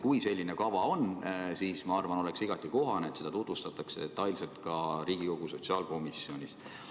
Kui selline kava on, siis minu arvates oleks igati kohane, et seda tutvustataks detailselt ka Riigikogu sotsiaalkomisjonis.